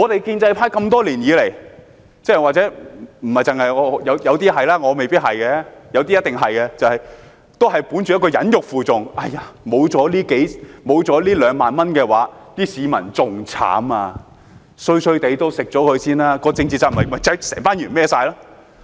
建制派多年來——或許有些是，我未必是，有些一定是——本着一種忍辱負重的態度，說沒有了這2萬元，市民會更慘，雖然不太好也先接受，而政治責任便由議員承擔了。